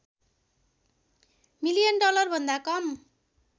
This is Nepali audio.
मिलियन डलरभन्दा कम